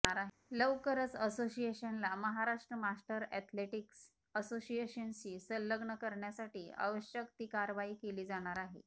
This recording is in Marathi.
लवकरच असोसिएशनला महाराष्ट्र मास्टर ऍथलेटिक्स असोसिएशनशी संलग्न करण्यासाठी आवश्यकती कार्यवाही केली जाणार आहे